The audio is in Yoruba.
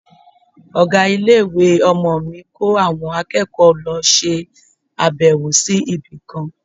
Ọ̀gá ilé-ìwé ọmọ mi ko àwọn akẹ́kọ̀ọ́ lọ ṣe abewo sí ibi kan.